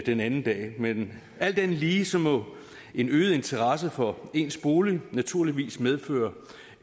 den anden dag men alt andet lige må en øget interesse for ens bolig naturligvis medføre